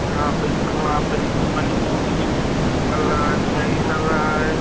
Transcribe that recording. यहाँ पे वहाँ पे नदी बनी है। नदी के निकल रहा है। पानी निकल रहा है।